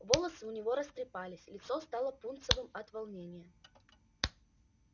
волосы у него растрепались лицо стало пунцовым от волнения